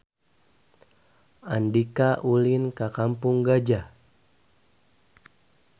Andika ulin ka Kampung Gajah